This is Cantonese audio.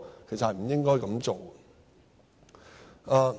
其實是不應該這樣做的。